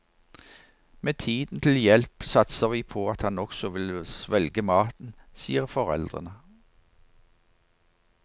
Med tiden til hjelp satser vi på at han også vil svelge maten, sier foreldrene.